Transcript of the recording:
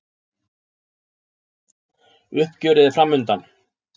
Uppgjörið er framundan